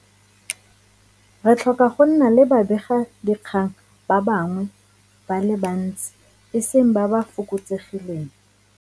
Re tlhoka go nna le babegadikgang ba bangwe ba le bantsi, e seng ba ba fokotsegileng.